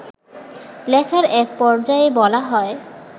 লেখার এক পর্যায়ে বলা হয়